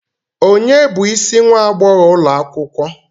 Ònye bụ isi nwa agbogho ulo akwukwo?